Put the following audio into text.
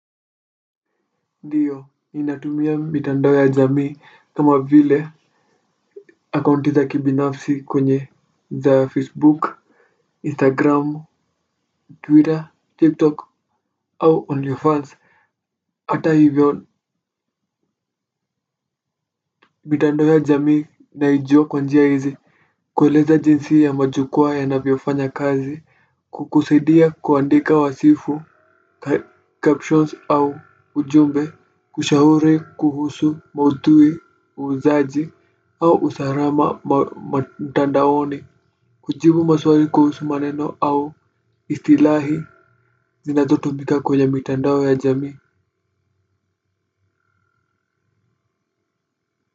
Ndiyo inatumia mitandao ya jamii kama vile akaunti za kibinafsi kwenye za facebook, instagram, twitter, tiktok au only fans ata hivyo mitandao ya jamii naijua kwa njia hizi kueleza jinsi ya majukwaa yanavyofanya kazi kukusaidia kuandika wasifu, captions au ujumbe kushauri kuhusu mauthui, uuzaji au usalama mtandaoni kujibu maswari kuhusu maneno au istilahi zinazotumika kwenye mtandao ya jamii.